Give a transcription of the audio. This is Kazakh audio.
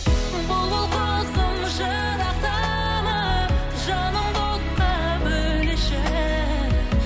бұлбұл құсым жырақтама жанымды отқа бөлеші